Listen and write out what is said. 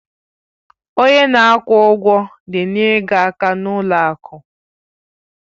Onye na-akwụ ụgwọ na-enyere gị aka n'ụlọ akụ.